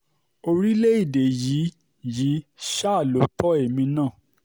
orílẹ̀-èdè yìí yìí ṣáà lọ tó èmi náà